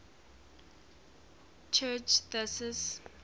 church turing thesis